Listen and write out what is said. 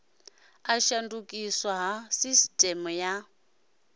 u shandukiswa ha sisiteme ya